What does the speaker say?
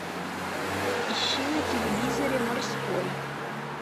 ищи на телевизоре морской